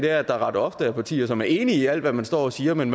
at der ret ofte er partier som er enige i alt hvad man står og siger men